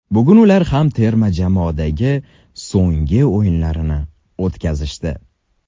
Bugun ular ham terma jamoadagi so‘nggi o‘yinlarini o‘tkazishdi.